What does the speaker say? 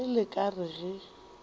ge le ka re ge